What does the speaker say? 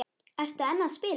Ertu enn að spila?